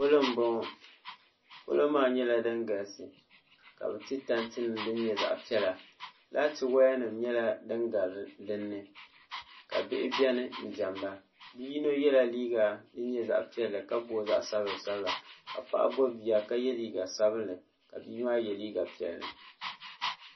pɔlɔ n bɔŋɔ pɔlɔ maa nyɛla din galisi ka bi ti tanti nim din nyɛ zaɣ piɛla laati woya nim nyɛla din gari dinni ka bihi biɛni n diɛmda bia yino nyɛla ŋun yɛ liiga din nyɛ zaɣ piɛlli ka booi zaɣ sabila sabila ka paɣa gbubi bia ka yɛ liiga sabinli ka' bia maa yɛ liiga piɛlli